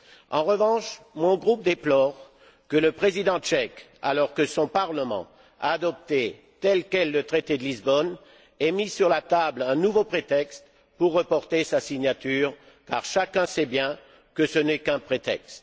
En revanche, mon groupe déplore que le président tchèque, alors que son parlement a adopté tel quel le traité de Lisbonne, ait mis sur la table un nouveau prétexte pour reporter sa signature, car chacun sait bien que ce n'est qu'un prétexte.